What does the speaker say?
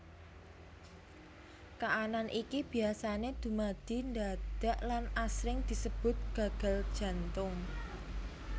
Kaanan iki biasané dumadi ndadak lan asring disebut gagal jantung